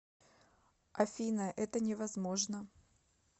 афина это не возможно